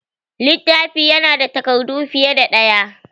Littafi ya na da takardu fiye da ɗaya